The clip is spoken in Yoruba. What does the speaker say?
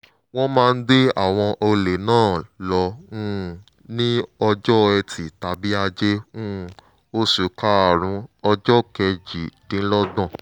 wọ́n máa gbé àwọn ọlẹ̀ náà lọ um ní ọjọ́ ẹtì tàbí ajé um oṣù kárùn-ún ọjọ́ kejìdínlọ́gbọ̀n